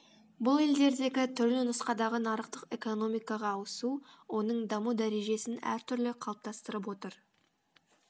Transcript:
бұл елдердегі түрлі нұсқадағы нарықтық экономикаға ауысу оның даму дәрежесін әртүрлі қалыптастырып отыр